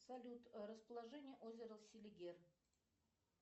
салют расположение озера селигер